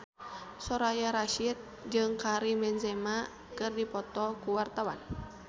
Soraya Rasyid jeung Karim Benzema keur dipoto ku wartawan